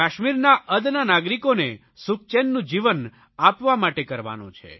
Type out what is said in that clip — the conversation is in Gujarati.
કાશ્મીરના અદના નાગરિકોને સુખચેનનું જીવન આપવા માટે કરવાનો છે